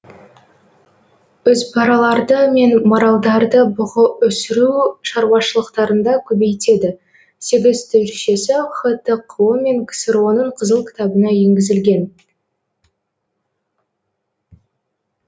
үзбараларды мен маралдарды бұғы өсіру шаруашылықтарында көбейтеді сегіз түршесі хтқо мен ксро ның қызыл кітабына еңгізілген